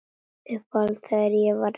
Upphátt þegar ég var ein.